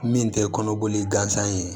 Min tɛ kɔnɔboli gansan ye